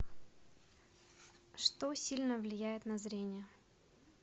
что сильно влияет на зрение